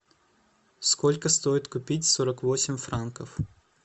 сколько стоит купить сорок восемь франков